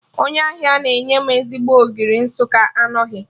Onye ahịa na-enye m ezigbo Ogiri Nsụka anọghị